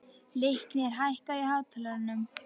Leiknir, hækkaðu í hátalaranum.